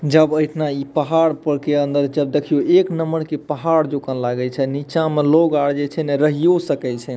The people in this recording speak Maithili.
जब एतना इ पहाड़ पर के अंदर जब देखियो एक नंबर के पहाड़ जाका लागे छै नीचा मे लोग आर जे छै ने रहियो सकय छै।